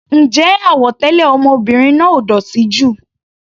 Ǹjẹ́ àwọ̀ tẹlẹ ọmọbìnrin náà ò dótì jù?